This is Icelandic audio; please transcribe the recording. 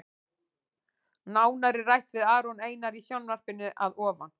Nánar er rætt við Aron Einar í sjónvarpinu að ofan.